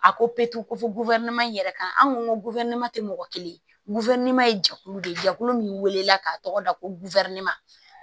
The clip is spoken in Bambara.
A ko ko fɔ in yɛrɛ kan an ko tɛ mɔgɔ kelen ye jɛkulu de ye jɛkulu min wele la ka tɔgɔ da ko